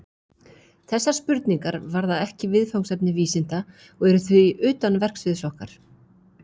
Þessar spurningar varða ekki viðfangsefni vísinda og eru því utan verksviðs okkar.